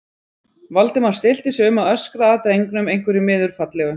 Valdimar stillti sig um að öskra að drengnum einhverju miður fallegu.